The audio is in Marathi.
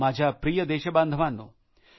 माझ्या प्रिय देशबांधवानो